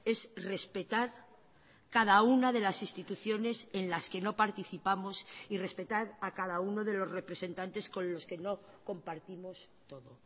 es respetar cada una de las instituciones en las que no participamos y respetar a cada uno de los representantes con los que no compartimos todo